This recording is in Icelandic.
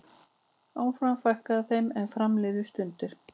Áfram fækkaði þeim er fram liðu stundir.